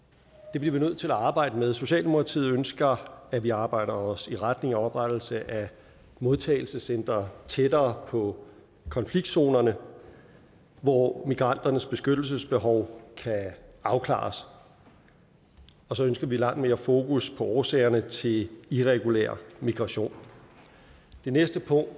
det bliver vi nødt til at arbejde med socialdemokratiet ønsker at vi arbejder os i retning af oprettelse af modtagelsescentre tættere på konfliktzonerne hvor migranternes beskyttelsesbehov kan afklares og så ønsker vi langt mere fokus på årsagerne til irregulær migration det næste punkt